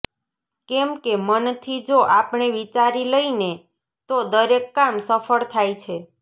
કેમ કે મનથી જો આપણે વિચારી લઈને તો દરેક કામ સફળ થાય છે